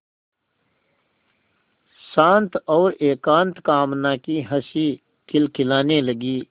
शांत और एकांत कामना की हँसी खिलखिलाने लगी